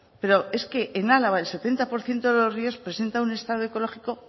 pero es que en álava el setenta por ciento de los ríos presenta un estado ecológico